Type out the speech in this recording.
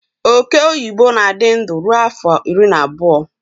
Ọke ọyịbọ na-adị ndụ ruo afọ iri na abụọ